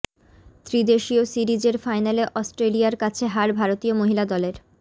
ত্রিদেশীয় সিরিজের ফাইনালে অস্ট্রেলিয়ার কাছে হার ভারতীয় মহিলা দলের